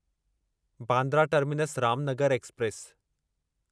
Bandra terminus Ramnagar express